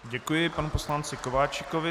Děkuji panu poslanci Kováčikovi.